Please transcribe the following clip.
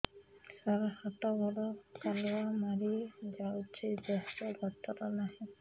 ସାର ହାତ ଗୋଡ଼ କାଲୁଆ ମାରି ଯାଉଛି ଦେହର ଗତର ନାହିଁ